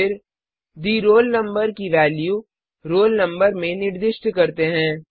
फिर the roll number की value roll number में निर्दिष्ट करते हैं